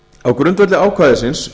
á grundvelli ákvæðisins